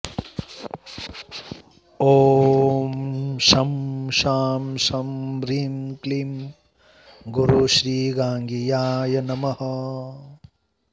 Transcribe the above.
ॐ शं शां षं ह्रीं क्लीं गुरुश्रीगाङ्गेयाय नमः